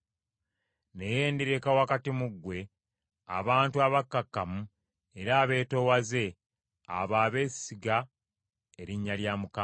Naye ndireka wakati mu ggwe abantu abakakkamu era abeetoowaze, abo abesiga erinnya lya Mukama .